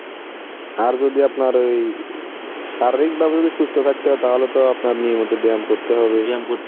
আর যদি আপনার ওই শারীরিকভাবে যদি সুস্থ থাকতে হয় তাহলে তো আপনার নিয়মিত ব্যায়াম করতে হবে